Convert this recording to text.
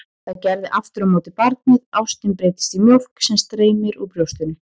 Það gerði aftur á móti barnið, ástin breyttist í mjólk sem streymdi úr brjóstinu.